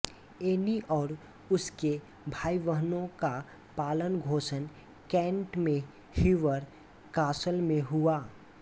Anne और उसके भाईबहनों का पालन पोषण कैंट में हीवर कासल में हुआ